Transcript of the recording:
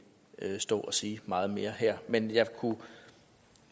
stå og sige meget mere her men jeg kunne